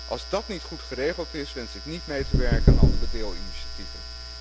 Als dát niet goed geregeld is, wens ik niet mee te werken aan andere deelinitiatieven.